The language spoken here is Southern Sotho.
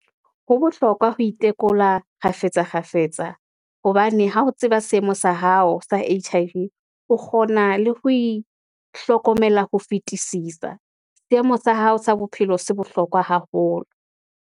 Ho bohlokwa ho itekola kgafetsa kgafetsa, hobane ha o tseba seemo sa hao sa H_I_V, o kgona le ho e hlokomela ho fetisisa. Seemo sa hao sa bophelo se bohlokwa haholo.